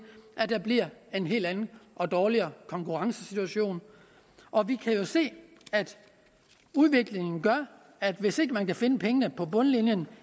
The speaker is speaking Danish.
at der bliver en helt anden og dårligere konkurrencesituation og vi kan jo se at udviklingen gør at hvis ikke man kan finde pengene på bundlinjen